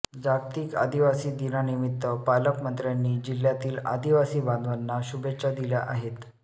जागतिक आदिवासी दिनानिमित्त पालकमंत्र्यांनी जिल्ह्यातील आदिवासी बांधवांना शुभेच्छा दिल्या आहेत